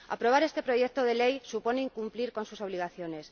Aprobar este proyecto de ley supone incumplir sus obligaciones.